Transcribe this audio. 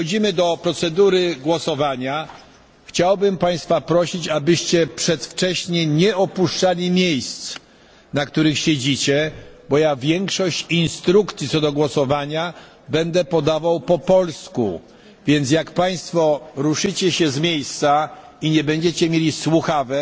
Przechodzimy do procedury głosowania. Chciałbym Państwa prosić, abyście przedwcześnie nie opuszczali miejsc, na których siedzicie, bo większość instrukcji co do głosowania będę podawał po polsku, więc jak Państwo ruszycie się z miejsca i nie będziecie mieli słuchawek,